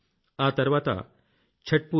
ఆ తర్వాత छठपूजा మరో పూజ